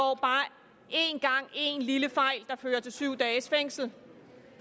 en lille fejl der fører til syv dages fængsel